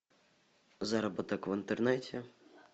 заработок в интернете